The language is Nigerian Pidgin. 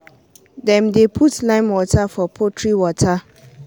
dem dey put lime water for poultry water.